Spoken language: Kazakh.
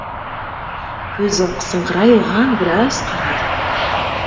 көзін қысыңқырай оған біраз қарады